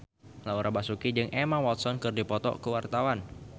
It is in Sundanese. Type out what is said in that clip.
Laura Basuki jeung Emma Watson keur dipoto ku wartawan